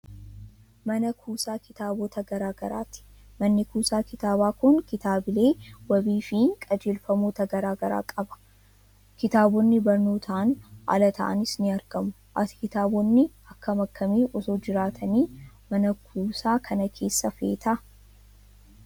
Mana kuusaa kitaabota garaa garaati. Manni kuusaa kitaabaa kun kitaabilee wabii fi qajeelfamoota garaa garaa qaba. Kitaabonni barnootaan ala ta'anis ni argamu. Ati kitaabonni akkam akkamii osoo jiraatanii mana kuusa kana keessa feeta?